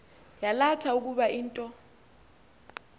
yalatha ukuba into